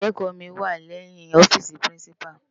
Iyàrá ikékò mi wá lèyin òfisi pirinsipá